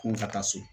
Ko n ka taa so